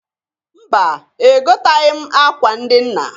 Mba! Egotaghi m akwa ndị nna.